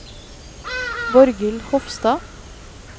Borghild Hofstad